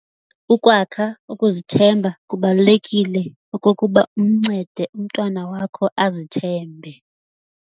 Ukwakha ukuzithemba Kubalulekile okokuba umncede umntwana wakho azithembe.